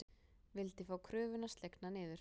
Vildi fá kröfuna slegna niður